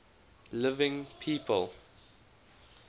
living people